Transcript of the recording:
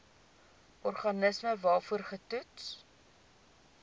organisme waarvoor getoets